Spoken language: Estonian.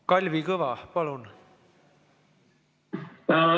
Kalvi Kõva, palun!